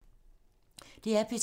DR P2